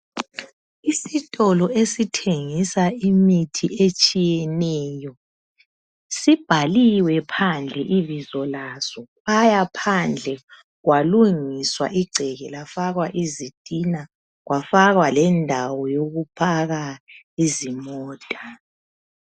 Isitolo esithengisa imithi etshiyeneyo sibhaliwe phandle ibizo laso lafakwa phandle kwalungiswa igceke kwafakwa izitina kwafakwa lendawo yokuphaka izimota.